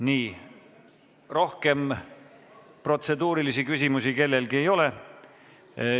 Nii, rohkem protseduurilisi küsimusi kellelgi ei ole.